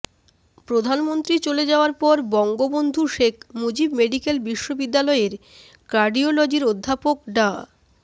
প্রধানমন্ত্রী চলে যাওয়ার পর বঙ্গবন্ধু শেখ মুজিব মেডিকেল বিশ্ববিদ্যালয়ের কার্ডিওলজির অধ্যাপক ডা